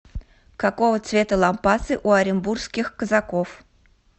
какого цвета лампасы у оренбургских казаков